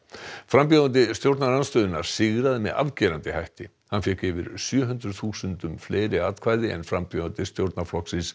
frambjóðandi stjórnarandstöðunnar sigraði með afgerandi hætti hann fékk yfir sjö hundruð þúsundum fleiri atkvæði en frambjóðandi stjórnarflokksins